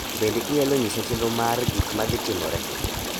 Bende inyalo nyisa chenro mar gik madhi timore?